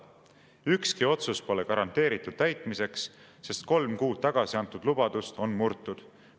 Ükski otsus pole garanteeritud täitmiseks, sest kolm kuud tagasi antud lubadust on murtud.